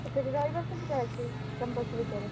ସେଠି ରହିବା ସୁବିଧା ଅଛି campus ଭିତରେ?